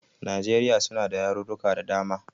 Najeriya suna da yarurruka da dama.